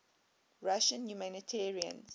russian humanitarians